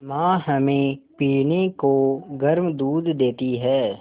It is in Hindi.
माँ हमें पीने को गर्म दूध देती हैं